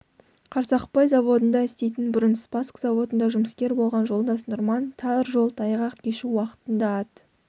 қарсақпай заводында істейтін бұрын спасск заводында жұмыскер болған жолдас нұрман тар жол тайғақ кешу уақытында ат